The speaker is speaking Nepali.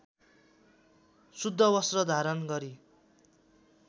शुद्ध वस्त्र धारण गरी